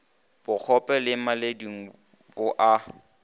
bokgope le maledung bo a